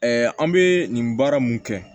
an bɛ nin baara mun kɛ